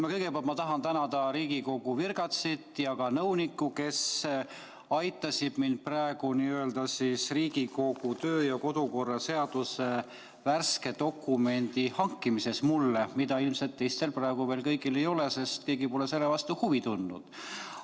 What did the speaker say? Ma kõigepealt tahan tänada Riigikogu virgatsit ja ka nõunikku, kes aitasid mind praegu Riigikogu kodu- ja töökorra seaduse värske dokumendi – mida ilmselt praegu veel kõigil ei ole, sest keegi pole selle vastu huvi tundnud – hankimisega.